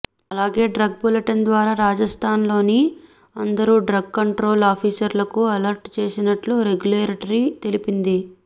అలాగే drug bulletin ద్వారా రాజస్థాన్ లోని అందరు డ్రగ్ కంట్రోల్ ఆఫీసర్లకు అలర్ట్ చేసినట్లు రెగ్యులేటరీ తెలిపింది